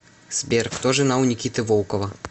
сбер кто жена у никиты волкова